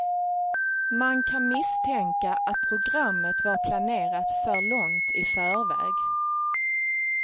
Man kan misstänka att programmet var planerat för långt i förväg.